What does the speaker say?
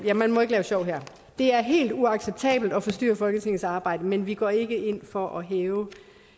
nej man må ikke lave sjov her det er helt uacceptabelt at forstyrre folketingets arbejde men vi går ikke ind for at hæve